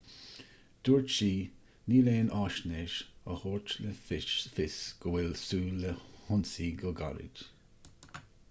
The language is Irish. dúirt sí níl aon fhaisnéis a thabharfadh le fios go bhfuil súil le hionsaí go gairid